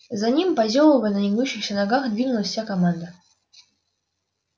за ним позёвывая на негнущихся ногах двинулась вся команда